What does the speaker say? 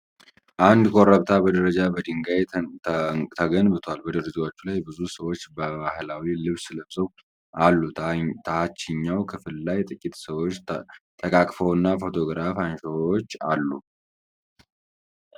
አንድ ኮረብታ በደረጃ በድንጋይ ተገንብቷል። በደረጃዎቹ ላይ ብዙ ሰዎች በባህላዊ ልብስ ለብሰው አሉ። ታችኛው ክፍል ላይ ጥቂት ሰዎች ተቃቅፈውና ፎቶግራፍ አንሺዎች አሉ።